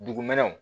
Dugumɛnɛw